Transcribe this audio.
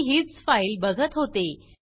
मी हीच फाइल बघत होते